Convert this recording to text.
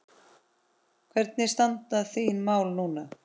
Hvernig standa þín mál núna?